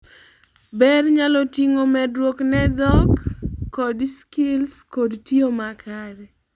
ber nyalo ting'o medruok ne dhok code skills kod tiyo ma kare